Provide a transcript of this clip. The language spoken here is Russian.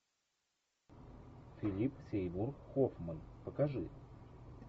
филип сеймур хоффман покажи